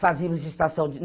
Fazíamos estação.